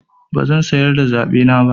Bazan sayar da zaɓena ba.